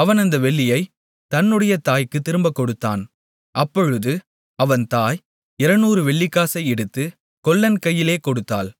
அவன் அந்த வெள்ளியைத் தன்னுடைய தாய்க்குத் திரும்பக் கொடுத்தான் அப்பொழுது அவன் தாய் 200 வெள்ளிக்காசை எடுத்து கொல்லன் கையிலே கொடுத்தாள்